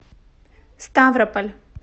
ставрополь